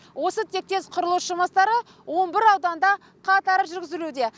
осы тектес құрылыс жұмыстары он бір ауданында қатар жүрзілуде